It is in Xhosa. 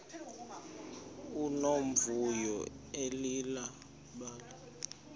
nomvuyo leli bali